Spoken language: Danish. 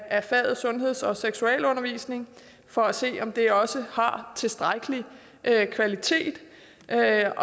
af faget sundheds og seksualundervisning for at se om det også har tilstrækkelig kvalitet så er